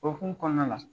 O hukumu kɔnɔna la